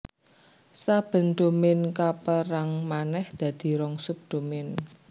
Saben dhomain kapérang manèh dadi rong sub dhomain